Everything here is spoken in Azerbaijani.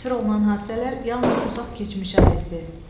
Təsvir olunan hadisələr yalnız uzaq keçmişə aiddir.